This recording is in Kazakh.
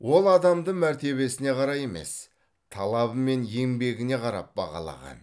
ол адамды мәртебесіне қарай емес талабы мен еңбегіне қарап бағалаған